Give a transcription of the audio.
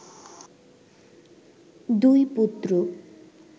দুই পুত্র